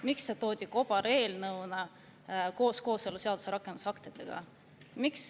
Miks see toodi siia kobareelnõuna koos kooseluseaduse rakendusaktidega?